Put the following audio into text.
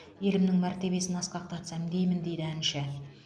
елімнің мәртебесін асқақтатсам деймін дейді әнші